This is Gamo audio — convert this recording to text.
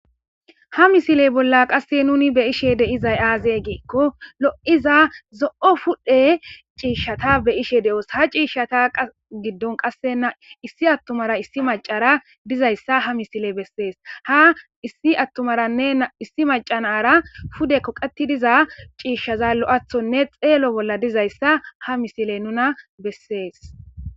Ha misile bolla qase nun be'ishe dizay aze giikon lo'iza zo'o pudhe ciishata be'ishe de'os, ha ciishata gidon qase issi adera issi macara dizaysa ha misiley beses. Ha misiley issi atumaranne issi maca nara pude kaqet diza cishaza lo'ethone xelo bolladizaysa ha misiley nuna beses.